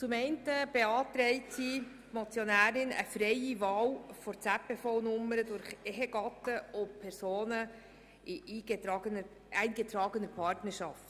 Zum einen beantragt die Motionärin eine freie Wahl der ZPV-Nummer durch Ehegatten und Personen in eingetragener Partnerschaft.